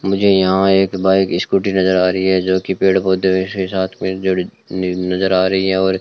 मुझे यहां एक बाइक स्कूटी नजर आ रही है जोकि पेड़ पौधे के साथ में नजर आ रही है और--